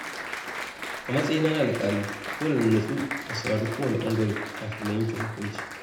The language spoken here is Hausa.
A matsayina na alƙali, dole na nutsu na saurari kowane ɓangare kafin na yanke hukunci.